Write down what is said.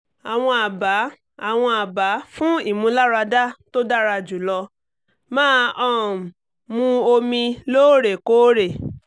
àwọn àbá àwọn àbá fún ìmúláradá tó dára jùlọ- máa um mu omi lóòrèkóòrè